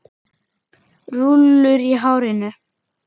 Rúllur í hárinu.